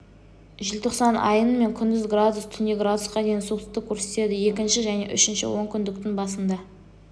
желтоқсан айының мен күндіз градус түнде градусқа дейін суықтықты көрсетеді екінші және үшінші онкүндіктің басында